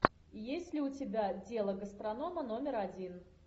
есть ли у тебя дело гастронома номер один